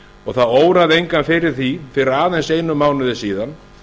og það óraði engan fyrir því fyrir aðeins einum mánuði síðan